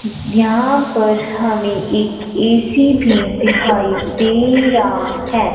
यहां पर हमे एक ए_सी भी दिखाई दे रा है।